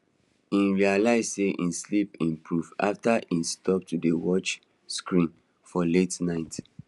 e realize sey him sleep improve after he stop to dey watch screen for late night